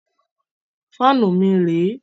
Fáànù mi rẹ̀ ẹ́.